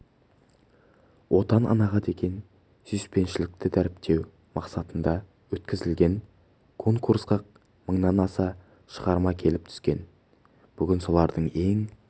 отан анаға деген сүйіспеншілікті дәріптеу мақсатында өткізілген конкурсқа мыңнан аса шығарма келіп түскен бүгін солардың ең